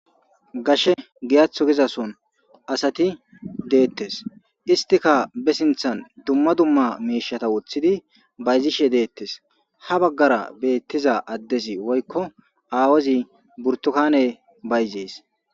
Gashe giyatho giza sohon asati detes istika be sintan duma duma mishata wotidi bayzishe de'etes ha bagara betiza adezi woyko awazi burtukane bayzes.